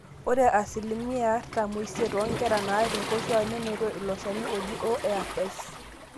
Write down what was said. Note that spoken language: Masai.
ore asilimia artam oisiet oonkera naar inkoshuaak nenoto ilo shani oji ORS